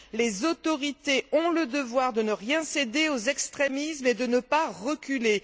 Les autorités ont le devoir de ne rien céder aux extrémismes et de ne pas reculer.